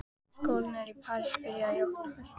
Skólarnir í París byrja í október.